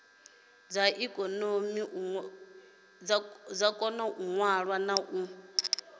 koni u ṅwala na u